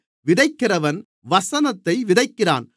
விதைக்கிறவன் வசனத்தை விதைக்கிறான்